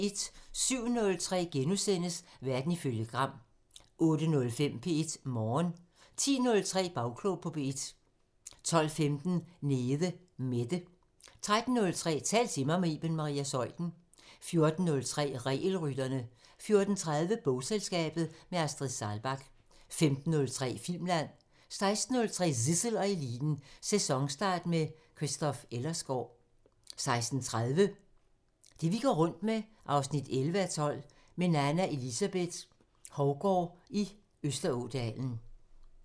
07:03: Verden ifølge Gram * 08:05: P1 Morgen 10:03: Bagklog på P1 12:15: Nede Mette 13:03: Tal til mig – med Iben Maria Zeuthen 14:03: Regelrytterne 14:30: Bogselskabet – med Astrid Saalbach 15:03: Filmland 16:03: Zissel og Eliten: Sæsonstart med Christoph Ellersgaard 16:30: Det vi går rundt med 11:12 – Med Nanna Elizabeth Hovgaard i Østerådalen